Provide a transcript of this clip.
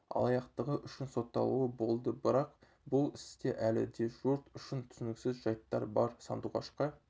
алаяқтығы үшін сотталуы болды бірақ бұл істе әлі де жұрт үшін түсініксіз жайттар бар сандуғашқа